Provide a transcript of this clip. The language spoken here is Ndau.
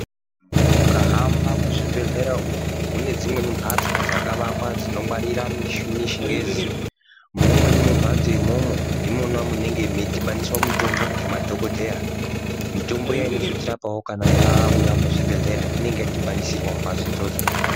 Mukahamba muzvibhedhlera umu mune dzimweni mhatso dzakavakwa dzinongwarira michini yechingezi. Mumweni mumhatso imwomwo ndinona munenge meidhibaniswa mitombo ngemadhogodheya. Mitombo iyani inozotirapavo kana yauya muzvibhedhlera inengayadhibanisirwa mumbatso idzodzo.